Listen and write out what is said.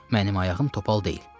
Mənim ayağım topal deyil.